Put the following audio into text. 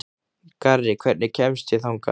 Garri, hvernig kemst ég þangað?